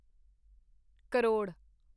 crore